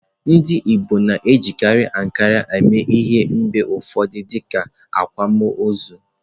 Ndị Igbo na-ejikarị ihe ankara eme ihe mgbe ụfọdụ dịka akwámoozu.